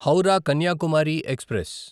Howrah Kanyakumari express